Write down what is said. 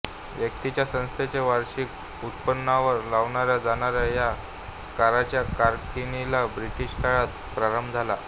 व्यक्तिच्यासंस्थेच्या वार्षिक उत्पन्नावर लावल्या जाणाऱ्या या कराच्या आकारणीला ब्रिटीश काळात प्रारंभ झाला